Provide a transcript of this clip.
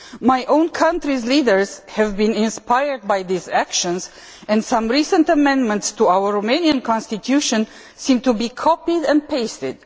My own country's leaders have been inspired by these actions, and some recent amendments to our Romanian constitution seem to be copied and pasted.